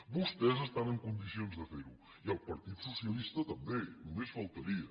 vostès estan en condicions de fer ho i el partit socialista també només faltaria